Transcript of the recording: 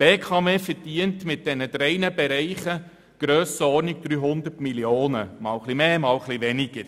Die BKW verdient mit diesen drei Bereichen in der Grössenordnung von 300 Mio. Franken, einmal mehr, einmal weniger.